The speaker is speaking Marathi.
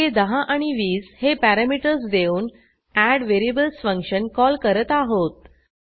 येथे 10 आणि 20 हे पॅरॅमीटर्स देऊन एडव्हेरिएबल्स फंक्शन कॉल करत आहोत